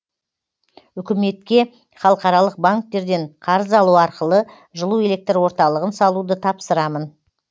үкіметке халықаралық банктерден қарыз алу арқылы жылу электр орталығын салуды тапсырамын